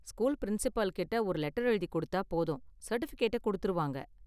School principal கிட்ட ஒரு letter எழுதி கொடுத்தா போதும், சர்டிஃபிகேட்ட கொடுத்திடுவாங்க.